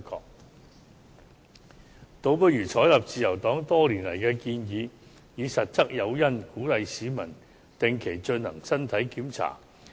我們建議倒不如採納自由黨多年的建議，以實質誘因，鼓勵市民定期進行身體檢查。